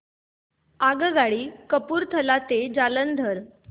आगगाडी कपूरथला ते जालंधर